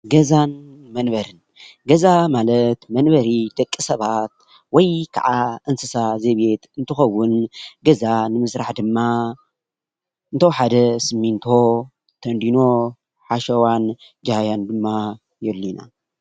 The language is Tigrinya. ገዛን መንበሪን:- ገዛ ማለት መንበሪ ደቂ ሰባት ወይ ከዓ እንስሳ ዘቤት እንትኸውን፤ ገዛ ንምስራሕ ድማ እንተወሓደ ስሚንቶ፣ ተንዲኖ፣ ሓሸዋን ጃህያን ድማ የድልዩና፡፡